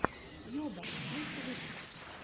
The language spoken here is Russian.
йоба лучший выпуск